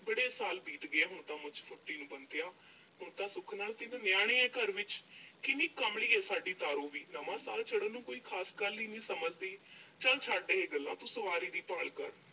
ਬੜੇ ਸਾਲ ਬੀਤ ਗਏ ਆ ਹੁਣ ਤਾਂ ਮੁੱਛ ਫੁੱਟੀ ਨੂੰ ਬੰਤਿਆ, ਹੁਣ ਤਾਂ ਸੁੱਖ ਨਾਲ ਤਿੰਨ ਨਿਆਣੇ ਆ ਘਰ ਵਿੱਚ। ਕਿੰਨੀ ਕਮਲੀ ਆ ਸਾਡੀ ਤਾਰੋ ਵੀ ਨਵਾਂ ਸਾਲ ਚੜ੍ਹਨ ਨੂੰ ਕੋਈ ਖਾਸ ਗੱਲ ਹੀ ਨੀਂ ਸਮਝਦੀ।